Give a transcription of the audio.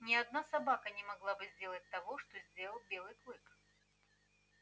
ни одна собака не могла бы сделать того что сделал белый клык